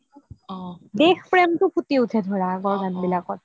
দেশপ্ৰেম বোৰ ফুটি উঠে ধৰা আগৰ গান বোৰত